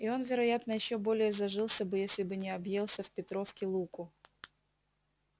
и он вероятно ещё более зажился бы если бы не объелся в петровки луку